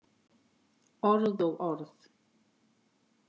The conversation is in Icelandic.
Orð og orð.